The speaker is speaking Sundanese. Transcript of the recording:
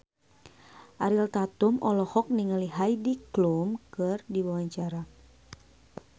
Ariel Tatum olohok ningali Heidi Klum keur diwawancara